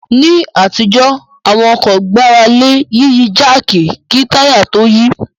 Ní àtijọ́ àwọn ọkọ̀ gbára lé Yíyí jáàkì kí táyà tó yí